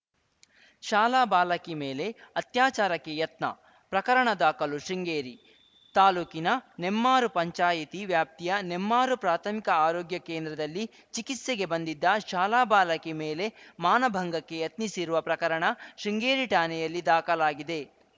ಶಾಲಾ ಬಾಲಕಿ ಮೇಲೆ ಅತ್ಯಾಚಾರಕ್ಕೆ ಯತ್ನ ಪ್ರಕರಣ ದಾಖಲು ಶೃಂಗೇರಿ ತಾಲೂಕಿನ ನೆಮ್ಮಾರು ಪಂಚಾಯಿತಿ ವ್ಯಾಪ್ತಿಯ ನೆಮ್ಮಾರು ಪ್ರಾಥಮಿಕ ಆರೋಗ್ಯ ಕೇಂದ್ರದಲ್ಲಿ ಚಿಕಿತ್ಸೆಗೆ ಬಂದಿದ್ದ ಶಾಲಾ ಬಾಲಕಿ ಮೇಲೆ ಮಾನಭಂಗಕ್ಕೆ ಯತ್ನಿಸಿರುವ ಪ್ರಕರಣ ಶೃಂಗೇರಿ ಠಾಣೆಯಲ್ಲಿ ದಾಖಲಾಗಿದೆ